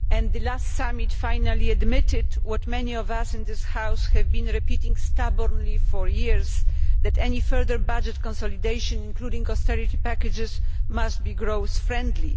The last summit finally admitted what many of us in this House have been repeating stubbornly for years, namely that any further budget consolidation, including austerity packages, must be growth friendly.